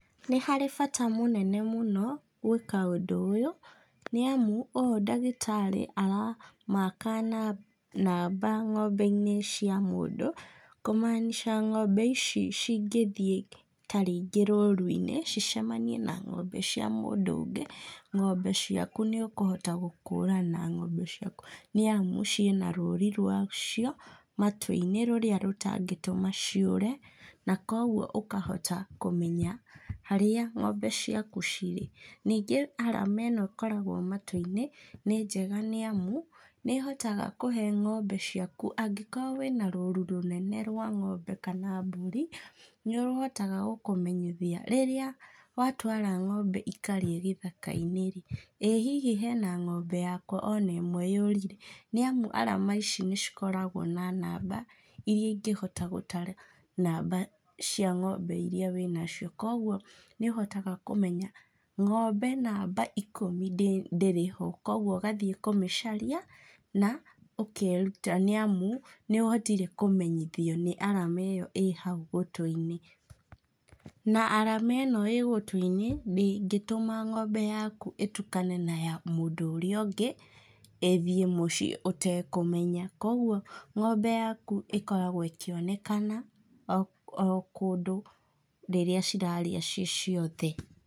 Nĩ harĩ bata mũnene mũno gwĩka ũndũ ũyũ, nĩamũ ũũ ndagĩtarĩ aramaka namba ng'ombe-inĩ cia mũndũ, kũ maanisha ng'ombe ici cingĩthiĩ ta rĩngĩ rũru-inĩ, cicemanie na ng'ombe cia mũndũ ũngĩ, ng'ombe ciaku nĩũkũhota gũkũrana ng'ombe ciaku, nĩamu ciĩna rũri rwacio matũ-inĩ rũrĩa rũtangĩtũma ciũre, na kogwo ũkahota kũmenya harĩa ng'ombe ciaku cirĩ. Ningĩ arama ĩno ĩkoragwo matũ-inĩ, nĩ njega nĩamu nĩhotaga kũhe ng'ombe ciaku, angĩkorwo wĩna rũru rũnene rwa ng'ombe kana mbũri, nĩũrũhotaga gũkũmenyithia rĩrĩa watwara ng'ombe ikarĩe gĩthaka-inĩ-rĩ, ĩ hihi hena ng'ombe yakwa ona ĩmwe yũrire, nĩamu arama ici nĩcikoragwo na namba iria ingĩhota gũtara namba cia ng'ombe iria wĩnacio, kogwo nĩũhotga kũmenya ng'ombe namba ikũmi ndĩrĩho kogwo ũgathiĩ kũmĩcaria na ũkeruta nĩamu nĩũhotire kũmenyiothio nĩ arama ĩyo ĩ hau gũtũ-inĩ, na arama ĩno ĩ gũtũ-inĩ ndĩngĩtũma ng'ombe yaku ĩtukane na ya mũndũ ũrĩa ũngĩ, ĩthiĩ mũciĩ ũtekũmenya. Kogwo ng'ombe yaku ĩkoragwo ĩkĩonekana o kũndũ rĩrĩa cirarĩa ciĩ ciothe.